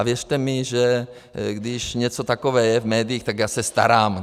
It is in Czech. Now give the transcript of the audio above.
A věřte mi, že když něco takové je v médiích, tak já se starám.